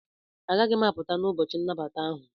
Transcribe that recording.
Agaghị m apụta n'ụbọchị nnabata ahụ.